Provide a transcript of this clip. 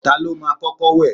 Ta ló máa kọ́kọ́ wẹ̀?